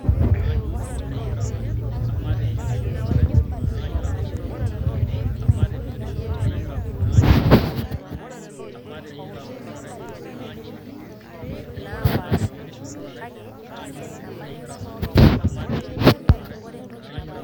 ore emoyian oloik naa kelel eyau irbulabul lina moyian